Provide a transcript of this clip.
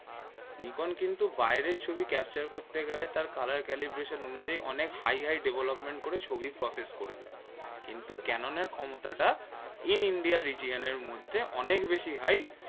নিকোন কিন্তু বাহিরের ছবি capture করতে গেলে তার colour calibration অনুযায়ী high high development করে ছবি process করে দেয় কিন্তু ক্যানোনের ক্ষমতাটা in India region মধ্যে অনেক বেশি high